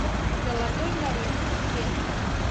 золотой ларец билет